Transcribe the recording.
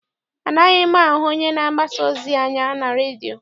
Anaghị ahụ onye na-agbasa ozi anya na redio.